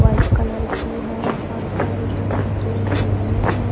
White colour की है और काले कलर के पहिए हैं।